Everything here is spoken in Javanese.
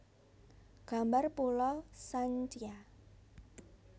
Gambar Pulau Sancia